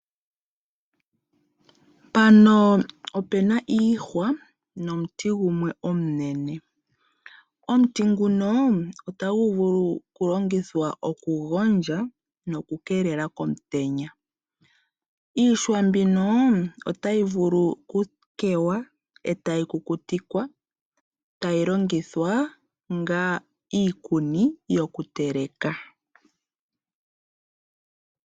Opu na iihwa nomuti gumwe omunene. Omuti nguno otagu vulu okulongithwa okugondjwa nokukeelela komutenya. Iihwa otayi vulu okutetwa e tayi kukutikwa e tayi longithwa onga iikuni yokuteleka.